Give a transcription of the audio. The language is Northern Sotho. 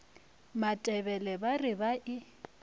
matebele ba re ba e